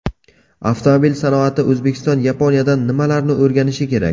Avtomobil sanoatida O‘zbekiston Yaponiyadan nimalarni o‘rganishi kerak?.